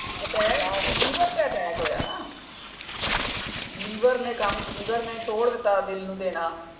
Attack liver ਤੇ attack ਹੋਇਆ ਨਾ ਲੀਵਰ ਨੇ ਕੰਮ ਲੀਵਰ ਨੇ ਛੋੜ ਦਿੱਤਾ ਦਿਲ ਨੂੰ ਦੇਣਾ।